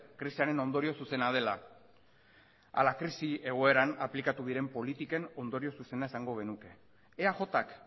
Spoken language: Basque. krisiaren ondorio zuzena dela ala krisi egoeran aplikatu diren politiken ondorio zuzena esango genuke eajk